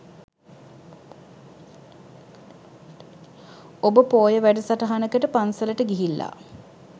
ඔබ පෝය වැඩසටහනකට පන්සලට ගිහිල්ලා